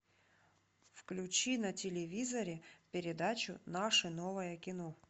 включи на телевизоре передачу наше новое кино